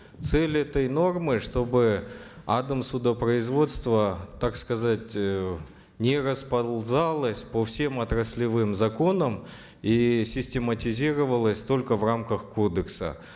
цель этой нормы чтобы адмсудопроизводство так сказать э не расползалось по всем отраслевым законам и систематизировалось только в рамках кодекса